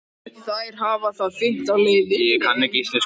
Þær hafa það fínt á leiðinni.